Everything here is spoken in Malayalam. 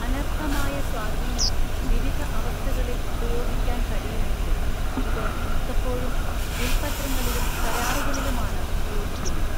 അനർഹമായ സ്വാധീനം വിവിധ അവസ്ഥകളിൽ ഉപയോഗിക്കാൻ കഴിയുമെങ്കിലും ഇത് മിക്കപ്പോഴും വിൽപ്പത്രങ്ങളിലും കരാറുകളിലുമാണ് ഉപയോഗിക്കുന്നത്.